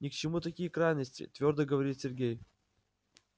ни к чему такие крайности твёрдо говорит сергей